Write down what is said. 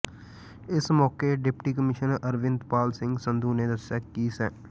ਇਸ ਮੌਕੇ deputy commissioner Arvind Pal Singh Sandhu ਨੇ ਦੱਸਿਆ ਕਿ ਸ